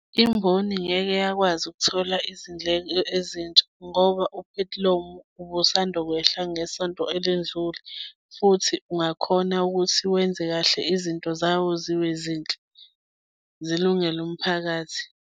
Imboni ngeke yakwazi ukuthola izindleko ezintsha, ngoba uphethilomu ubusanda kwehla ngesonto elindlule, futhi ungakhona ukuthi wenze kahle izinto zawo zibe zinhle. zilungele umphakathi.